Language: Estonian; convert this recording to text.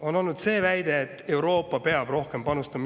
On olnud väide, et Euroopa peab rohkem panustama.